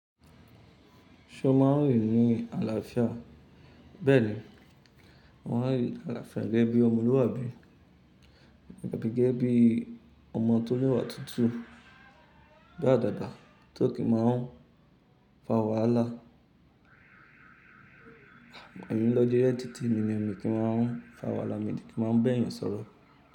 Ṣo máa ń rínrin àlàáfíà? Bẹ́ẹ̀ni, mo máa ń rínrin àlàáfíà gẹ́gẹ́ bí ọmọlúwàbí, gẹ́gẹ́ bí ọmọ tó lẹ́wà tutu, bi àdàba tó kì máa ń fa wàhálà. Emi n lọ́ jeje e ti tèmi ni, mi kì máa ń fa wàhálà, mi de kì í máa ń ba eeyàn sọ̀rọ̀.